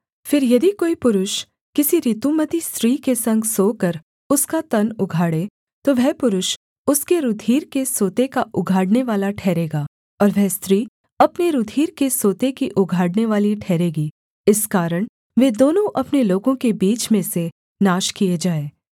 फिर यदि कोई पुरुष किसी ऋतुमती स्त्री के संग सोकर उसका तन उघाड़े तो वह पुरुष उसके रूधिर के सोते का उघाड़नेवाला ठहरेगा और वह स्त्री अपने रूधिर के सोते की उघाड़नेवाली ठहरेगी इस कारण वे दोनों अपने लोगों के बीच में से नाश किए जाएँ